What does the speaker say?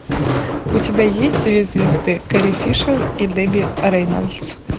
у тебя есть две звезды кэрри фишер и дебби рейнольдс